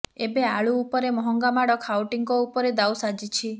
ଏବେ ଆଳୁ ଉପରେ ମହଙ୍ଗା ମାଡ଼ ଖାଉଟିଙ୍କ ଉପରେ ଦାଉ ସାଜିଛି